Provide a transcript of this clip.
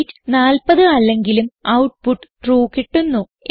weight 40 അല്ലെങ്കിലും output true കിട്ടുന്നു